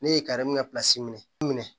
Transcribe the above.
Ne ye minɛ